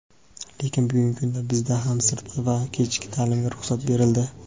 Lekin bugungi kunda bizda ham sirtqi va kechki taʼlimga ruxsat berildi.